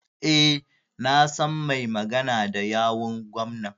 E, na san mai magana da yawun gwamnan.